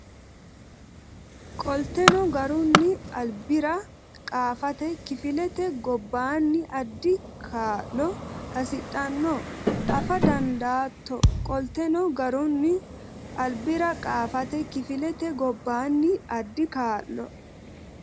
Qolteno garunni albira qaafate kifilete gobbaanni addi kaa lo hasidhanno afa dandaatto Qolteno garunni albira qaafate kifilete gobbaanni addi kaa lo.